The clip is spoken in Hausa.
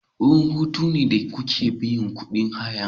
Wurin hutu wurin da kuke biyan kuɗin hayane.